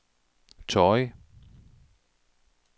Torrig